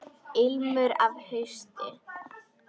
Ilmur af hausti!